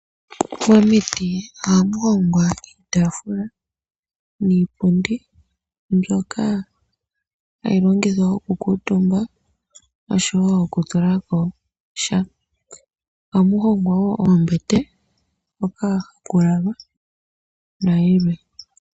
Momiti ohamu hongwa iitafula niipundi mbyoka hayi longithwa oku kuutumbwa oshowo oku tulako sha. Ohamu hongwa wo oombete hoka haku lalwa, nayilwe.